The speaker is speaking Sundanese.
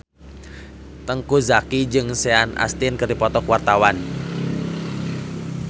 Teuku Zacky jeung Sean Astin keur dipoto ku wartawan